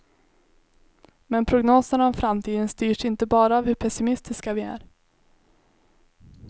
Men prognoserna om framtiden styrs inte bara av hur pessimistiska vi är.